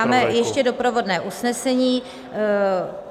Máme ještě doprovodné usnesení.